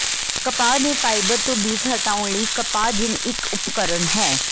ਕਪਾਹ ਦੇ ਫਾਈਬਰ ਤੋਂ ਬੀਜ ਹਟਾਉਣ ਲਈ ਕਪਾਹ ਜਿੰਨ ਇਕ ਉਪਕਰਣ ਹੈ